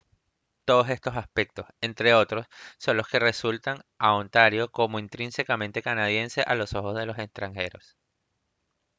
todos estos aspectos entre otros son los que resaltan a ontario como intrínsecamente canadiense a los ojos de los extranjeros